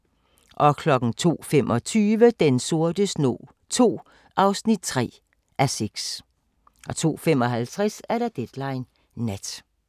02:25: Den sorte snog II (3:6) 02:55: Deadline Nat